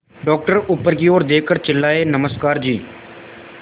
doctor ऊपर की ओर देखकर चिल्लाए नमस्कार जी